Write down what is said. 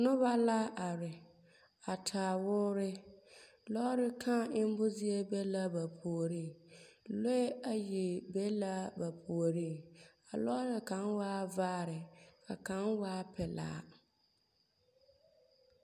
Noba la are a taa woore. Lɔɔre kᾱᾱ emmo zie be la ba puoriŋ. Lɔɛ ayi be la ba puoriŋ. A lɔɔre kaŋ waa vaare ka kaŋ waa pelaa